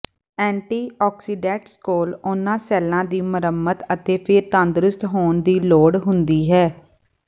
anti antioxidants ਕੋਲ ਉਨ੍ਹਾਂ ਸੈੱਲਾਂ ਦੀ ਮੁਰੰਮਤ ਅਤੇ ਫਿਰ ਤੰਦਰੁਸਤ ਹੋਣ ਦੀ ਲੋੜ ਹੁੰਦੀ ਹੈ